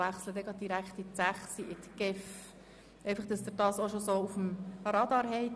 Deshalb werden wir direkt zu Kapitel 6 betreffend die GEF übergehen.